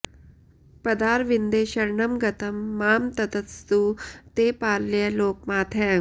पदारविन्दे शरणं गतं मां ततस्तु ते पालय लोकमातः